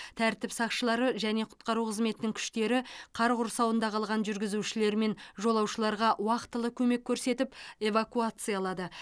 тәртіп сақшылары және құтқару қызметінің күштері қар құрсауында қалған жүргізушілер мен жолаушыларға уақтылы көмек көрсетіп эвакуациялады